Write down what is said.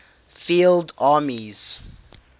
field armies